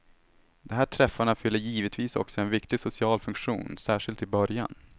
De här träffarna fyller givetvis också en viktig social funktion, särskilt i början.